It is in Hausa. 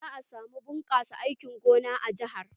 Za a samu bunkasar aikin gona a jahar.